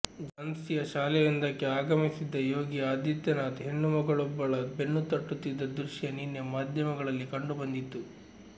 ಝಾನ್ಸಿಯ ಶಾಲೆಯೊಂದಕ್ಕೆ ಆಗಮಿಸಿದ್ದ ಯೋಗಿ ಆದಿತ್ಯನಾಥ್ ಹೆಣ್ಣುಮಗುವೊಬ್ಬಳ ಬೆನ್ನುತಟ್ಟುತ್ತಿದ್ದ ದೃಶ್ಯ ನಿನ್ನೆ ಮಾಧ್ಯಮಗಳಲ್ಲಿ ಕಂಡುಬಂದಿತ್ತು